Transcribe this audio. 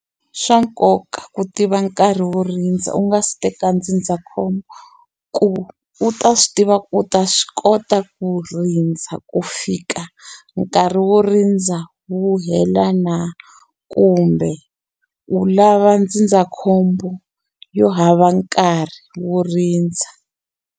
Swa nkoka ku tiva nkarhi wo rindza u nga si teka ndzindzakhombo ku u ta swi tiva ku u ta swi kota ku rindza ku fika nkarhi wo rindza wu hela na kumbe u lava ndzindzakhombo yo hava nkarhi wo rindza.